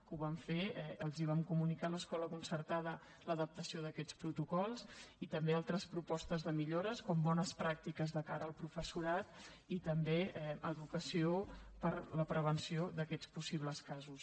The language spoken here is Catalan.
que ho vam fer els vam comunicar a l’escola concertada l’adaptació d’aquests protocols i també altres propostes de millores com bones pràctiques de cara al professorat i també educació per a la prevenció d’aquests possibles casos